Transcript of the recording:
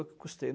Eu que custei.